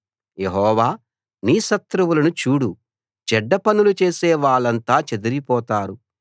యెహోవా నీ శత్రువులను చూడు చెడ్డపనులు చేసే వాళ్ళంతా చెదరిపోతారు